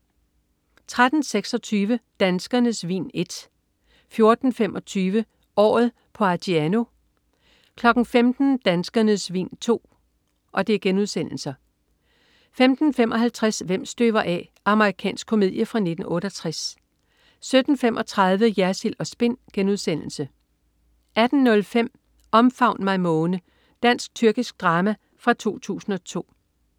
13.26 Danskernes Vin I* 14.25 Året på Argiano* 15.00 Danskernes Vin II* 15.55 Hvem støver af. Amerikansk komedie fra 1968 17.35 Jersild & Spin* 18.05 Omfavn mig måne. Dansk-tyrkisk drama fra 2002